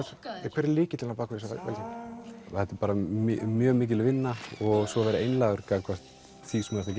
hver er lykillinn á bak við þessa velgengni þetta er bara mjög mikil vinna og svo vera einlægur gagnvart því sem þú ert